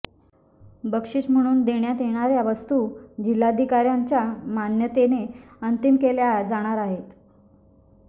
बक्षीस म्हणून देण्यात येणार्या वस्तू जिल्हाधिकार्यांच्या मान्यतेने अंतिम केल्या जाणार आहेत